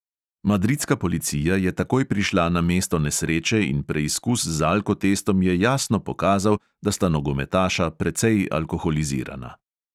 Madridska policija je takoj prišla na mesto nesreče in preizkus z alkotestom je jasno pokazal, da sta nogometaša precej alkoholizirana.